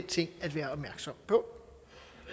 ting at være opmærksom på